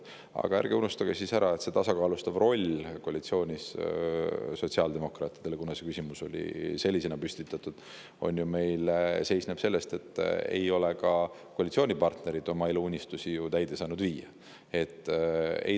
Aga ärge unustage, et sotsiaaldemokraatide tasakaalustav roll koalitsioonis – see küsimus oli sellisena püstitatud – seisneb selles, et ka koalitsioonipartnerid ei ole oma eluunistusi saanud täide viia.